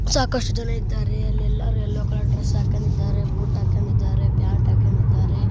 ಸಾಕಷ್ಟು ಜನ ಇದ್ದಾರೆಅಲ್ಲಿ ಎಲ್ಲರೂ ಎಲ್ಲೋ ಕಲರ್ ಡ್ರೆಸ್ ಹಾಕೊಂಡಿದ್ದಾರೆ ಕೋಟ್ ಹಾಕೊಂಡಿದ್ದಾರೆ ಪ್ಯಾಂಟ್ ಹಾಕೊಂಡಿದ್ದಾರೆ